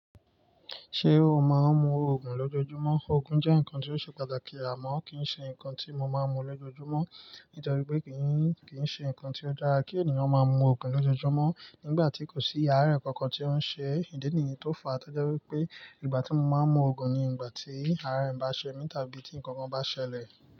Ṣé o máa ń mu Ògùn lójoojúmọ́? Ògùn jẹ́ nǹkan tí ó ṣe pàtàkì àmọ́ kì í ṣe nǹkan tí mo máa ń mu lójoojúmọ́ nítorí pé kì í ṣe nǹkan tí ó dára kí ènìyàn máa ń mu Ògùn lójoojúmọ́ nígbà tí kò sí àárẹ̀ kankan tí ó ń ṣe ìdí nìyàn tó fàá. Toje wipé ìgbà tí mo máa ń mu Ògùn ni ìgbà tí àárẹ̀ bá ṣe mí tàbí tí nǹkan kan bá ṣẹlẹ̀